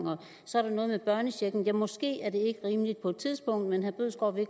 så er der noget med børnechecken måske er det ikke rimeligt på et tidspunkt men herre bødskov vil